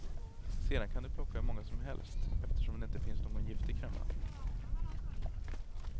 Sedan kan du plocka hur många som helst eftersom det inte finns någon giftig kremla.